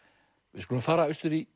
við skulum fara austur í